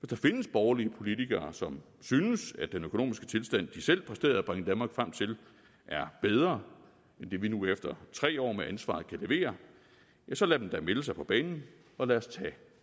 der findes borgerlige politikere som synes at den økonomiske tilstand de selv præsterede at bringe danmark frem til er bedre end det vi nu efter tre år med ansvaret kan levere ja så lad dem da melde sig på banen og lad os tage